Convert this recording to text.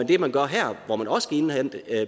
det man gør her hvor man også skal indhente